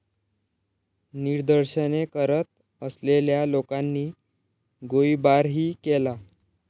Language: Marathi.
निदर्शने करत असलेल्या लोकांनी गोळीबारही केला.